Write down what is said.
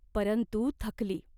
परंतु थकली.